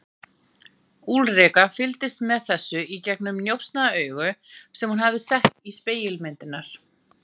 Úlrika fylgdist með þessu í gegnum njósnaaugu sem hún hafði sett í spegilmyndirnar.